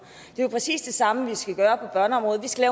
det er jo præcis det samme vi skal gøre på børneområdet vi skal